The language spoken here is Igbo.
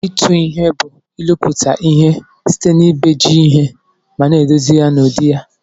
Itụ ihe bu ilụputa ihe site na ibeji ihe mana edozi ya n'udi ya.